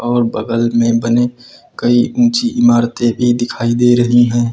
और बगल में बने कई ऊंची इमारतें भी दिखाई दे रही हैं।